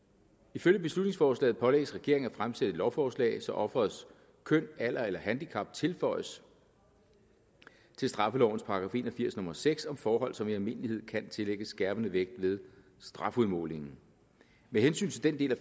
ifølge beslutningsforslaget pålægges regeringen at fremsætte et lovforslag så offerets køn alder eller handicap tilføjes til straffelovens § en og firs nummer seks om forhold som i almindelighed kan tillægges skærpende vægt ved strafudmålingen med hensyn til den del af